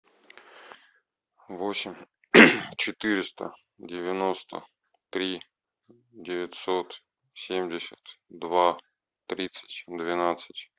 восемь четыреста девяносто три девятьсот семьдесят два тридцать двенадцать